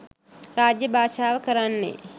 රාජ්‍ය භාෂාව කරන්නේ